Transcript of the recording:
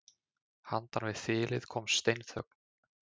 Handan við þilið kom steinþögn.